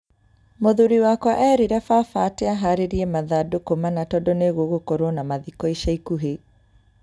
Mũthuri wakwa eerire baba ati aharĩrie mathandũkũ mana tondũ nĩ gũgũkorwo na mathiko ica ikuhĩ.